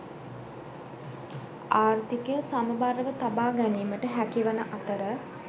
ආර්ථිකය සමබරව තබා ගැනීමට හැකිවන අතර